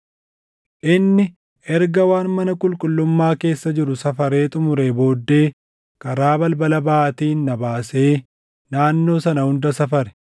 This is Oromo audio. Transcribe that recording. Inni erga waan mana qulqullummaa keessa jiru safaree xumuree booddee karaa balbala baʼaatiin na baasee naannoo sana hunda safare.